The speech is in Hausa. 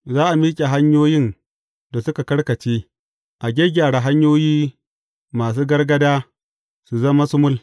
Za a miƙe hanyoyin da suka karkace, a gyaggyara hanyoyi masu gargaɗa su zama sumul.